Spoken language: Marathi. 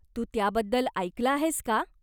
तू त्याबद्दल ऐकलं आहेस का?